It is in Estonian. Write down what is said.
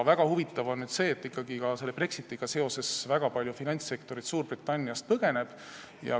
Väga huvitav on see, et ikkagi ka Brexitiga seoses väga suur osa finantssektorist Suurbritanniast põgeneb.